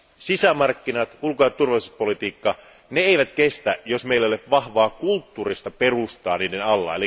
Sisämarkkinat ja ulko ja turvallisuuspolitiikka eivät kestä, jos meillä ei ole vahvaa kulttuurista perustaa niiden alla.